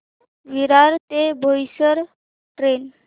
विरार ते बोईसर ट्रेन